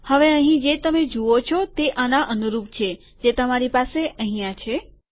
હવે અહીં જે તમે જુઓ છો તે આના અનુરૂપ છે જે તમારી પાસે અહીંયા છે